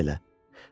O kimdi elə?